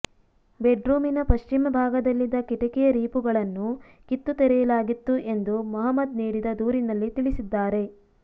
ಬೆಡ್ರೂಮಿನ ಪಶ್ಚಿಮ ಭಾಗದಲ್ಲಿದ್ದ ಕಿಟಿಕಿಯ ರೀಪುಗಳನ್ನು ಕಿತ್ತು ತೆಗೆಯಲಾಗಿತ್ತು ಎಂದು ಮಹಮ್ಮದ್ ನೀಡಿದ ದೂರಿನಲ್ಲಿ ತಿಳಿಸಿದ್ದಾರೆ